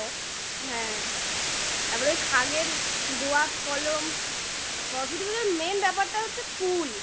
হ্যাঁ তারপরে ওই খাগের দোয়াত কলম সরস্বতী পূজার main ব্যাপারটা হচ্ছে কুল